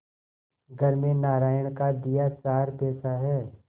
घर में नारायण का दिया चार पैसा है